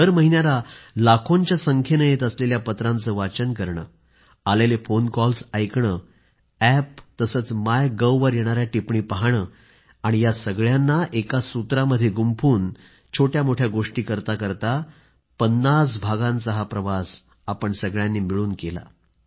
दरमहिन्याला लाखोंच्या संख्येनं येत असलेल्या पत्रांचं वाचन करणं आलेले फोन कॉल्स ऐकणं अॅप आणि मायगव्हवर येणाऱ्या टिप्पणी पाहणं आणि या सगळ्यांना एका सूत्रामध्ये गुंफून छोट्यामोठ्या गोष्टीं करता करता 50 भागांचा हा प्रवास आपण सर्वांनी मिळून केला आहे